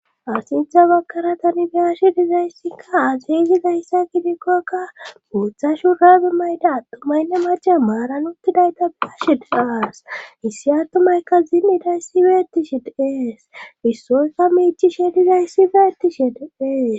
Asidza bakara tani biyashi dizayssikka aseyzi gayssa kidikkokka muuthashu raebi mayda attumaynne mace maaran uttidayta biyashe daas issi attumayka zimiday sibeettishi diees issoykka miichishe dizayssibeettishe diees.